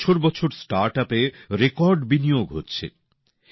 বছর বছর স্টার্টআপে রেকর্ড বিনিয়োগ হচ্ছে